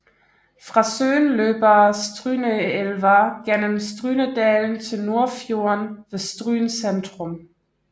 Fra søen løber Stryneelva gennem Strynedalen til Nordfjorden ved Stryn centrum